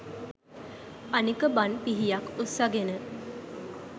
අනික බන් පිහියක් උස්සගෙන